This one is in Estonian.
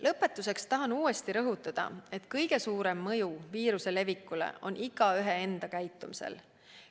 Lõpetuseks tahan uuesti rõhutada, et kõige suurem mõju viiruse levikule on igaühe enda käitumisel.